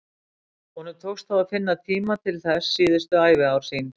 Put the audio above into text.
Honum tókst þó að finna tíma til þess síðustu æviár sín.